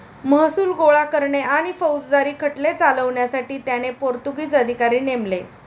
महसूल गोळा करणे आणि फौजदारी खटले चालवण्यासाठी त्याने पोर्तुगीज अधिकारी नेमले.